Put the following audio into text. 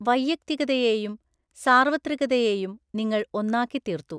വൈയക്തികതയേയും സാർവത്രികതയേയും നിങ്ങൾഒന്നാക്കി തീർത്തു.